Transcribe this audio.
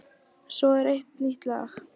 Svo er eitt nýtt lag.